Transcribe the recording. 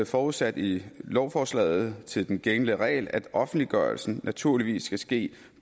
forudsat i lovforslaget til den gældende regel at offentliggørelsen naturligvis skal ske